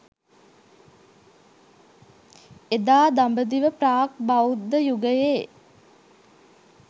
එදා දඹදිව ප්‍රාග් බෞද්ධ යුගයේ